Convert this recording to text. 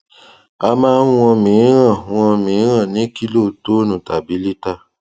a máa ń wọn míìrán wọn míìrán ní kílotonne tàbí liter